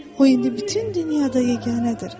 O indi bütün dünyada yeganədir.